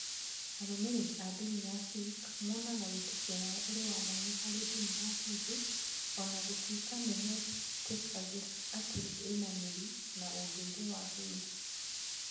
Arũmĩrĩri a ndini ya Sikh monaga wĩtĩkio wao ũrĩ wa mwanya harĩ ndini ya Hindu o na gũtuĩka nĩ metĩkagĩra atĩ ĩna mĩri na ũndũire wa hindu.